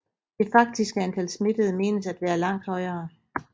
Det faktiske antal smittede menes at være langt højere